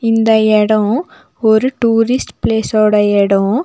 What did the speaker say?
இந்த எடோ ஒரு டூரிஸ்ட் பிளேஸோட எடோ.